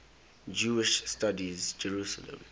jewish studies jerusalem